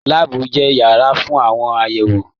Láàbù jẹ yàrá fún àwọn àyẹwò.